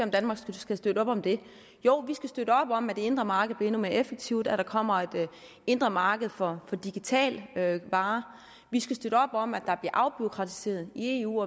danmark skal støtte op om det jo vi skal støtte op om at det indre marked bliver endnu mere effektivt at der kommer et indre marked for digitale varer vi skal støtte op om at der bliver afbureaukratiseret i eu